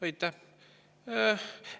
Aitäh!